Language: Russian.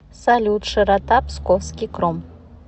салют широта псковский кром